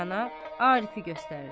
Rəna, Arifə göstərir.